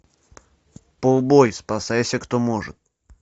пулбой спасайся кто может